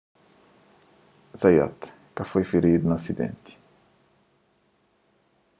zayat ka foi firidu na asidenti